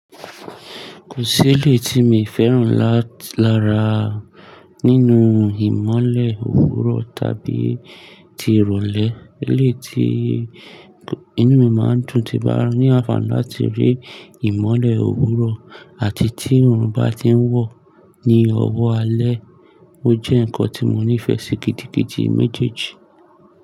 Kò seleyi tí mi féràn lára nínú ìmọ́lẹ̀ òwúrọ̀ tàbí ti ìrọ̀lẹ́. Ilé tí inú mi máa ń dùn ti bá ní àfààní láti rí ìmọ́lẹ̀ òwúrọ̀ àti tí òòrùn bá ti ń wọ̀ ní ọwọ́ alẹ́. Ó jẹ́ ǹkan tí mo nífẹ̀ẹ́ sí gidigidi méjèèjì.